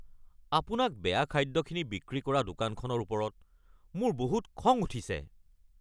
আপোনাক বেয়া খাদ্যখিনি বিক্ৰী কৰা দোকানখনৰ ওপৰত মোৰ বহুত খং উঠিছে।